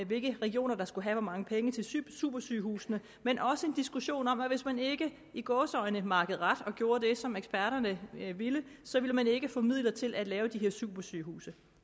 hvilke regioner der skulle have hvor mange penge til supersygehusene men også en diskussion om at hvis man ikke i gåseøjne makkede ret og gjorde det som eksperterne ville så ville man ikke få midler til at lave de her supersygehuse